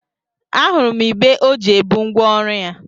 A hụrụ m igbé ọ ji ebu ngwa ọrụ ya.